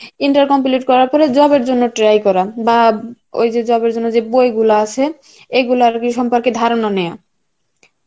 inter complete করার পর job এর জন্য try করা বা, ওই যে job এর জন্য যেই বই গুলো আছে, এগুলার আর কি সম্পর্কে ধারণা নেওয়া